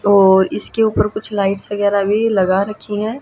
और इसके ऊपर कुछ लाइट्स वगैरा भी लगा रखी हैं।